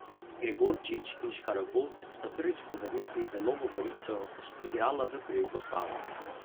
Gregorič in Škarabot sta prvič po vrnitvi v Novo Gorico igrala v prvi postavi.